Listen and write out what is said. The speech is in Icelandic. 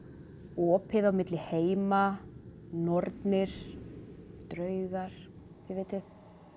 opið á milli heima nornir draugar þið vitið